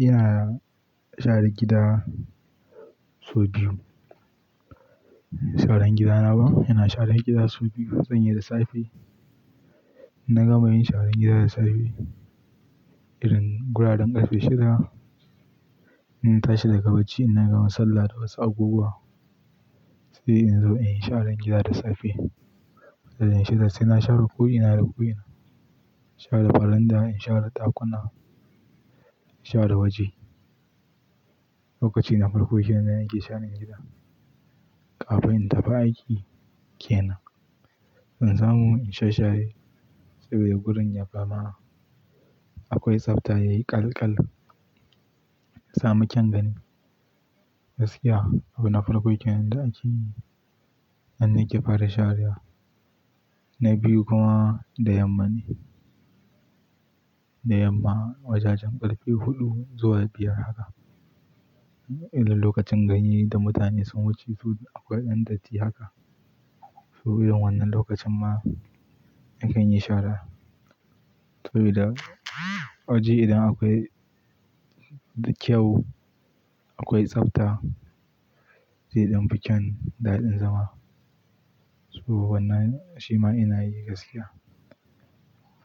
Ina share gida sau biyu. Sharan gidana ba, ina share gida sau biyu zanyi da safe. In nagama yin sharar gida da safe irin guraren ƙarfe shida. In tashi daga bacci, in na gama sallah da wasu abubuwa sai in zo in yi sharar gida da safe. Sai na share ko'ina da ko'ina, share baranda, in share ɗakuna, in share waje. Lokaci na farko kenan ne nake sharan gida kafin in tafi aiki kenan. In samu in sha share saboda gurin ya za ma akwai tsafta yayi ƙaƙlal, ya samu kyan gani, gaskiya abuna farko kenan da akeyi. An nika fara sharewa na biyu kuma da yamma ne. Da yamma wajajen ƙarfe huɗu zuwa biyar haka. Idan lokacin gani da mutane sun wuce so akwai ɗan datti haka. Su irin wannan lokacin ma in an yi shara saboda waje idan akwai kyau akwai tsafta zai dan fi kyan daɗin zama. Su wannan shima ina yi gaskiya.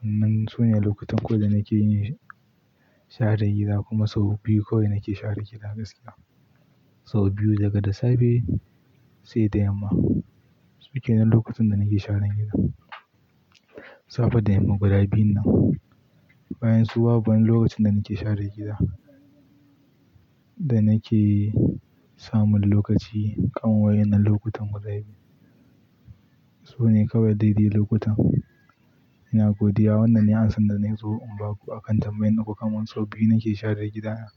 Wannan sune lokutan kawai da nake yin share gida kuma sau biyu kawai nake share gida gaskiya. Sau biyu daga da safe sai da yamma suke nan lokutan da nake sharen gida. Safe da yamma guda biyun nan bayan su babu wani lokacin da nake share gida. Da nake samun lokaci kan wa'innan lokutan guda biyun. Sune kawai daidai lokutan ina godiya wannan ne ansan da nake so in ba ku a kan tambayan da kukaman sau biyu nake share gidana.